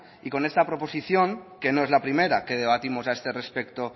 y con esta proposición que no es la primera que debatimos a este respecto